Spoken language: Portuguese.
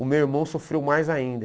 O meu irmão sofreu mais ainda.